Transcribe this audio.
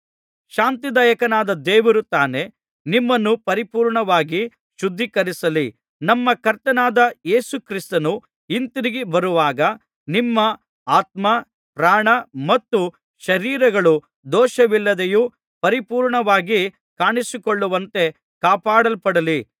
ಶಾಂತಿದಾಯಕನಾದ ದೇವರು ತಾನೇ ನಿಮ್ಮನ್ನು ಪರಿಪೂರ್ಣವಾಗಿ ಶುದ್ಧೀಕರಿಸಲಿ ನಮ್ಮ ಕರ್ತನಾದ ಯೇಸು ಕ್ರಿಸ್ತನು ಹಿಂತಿರುಗಿ ಬರುವಾಗ ನಿಮ್ಮ ಆತ್ಮ ಪ್ರಾಣ ಮತ್ತು ಶರೀರಗಳು ದೋಷವಿಲ್ಲದೆ ಪರಿಪೂರ್ಣವಾಗಿ ಕಾಣಿಸಿಕೊಳ್ಳುವಂತೆ ಕಾಪಾಡಲ್ಪಡಲಿ